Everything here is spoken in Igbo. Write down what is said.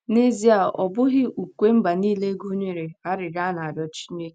N'ezie, ọ bụghị ukwe mba nile gụnyere arịrịọ a na-arịọ Chineke.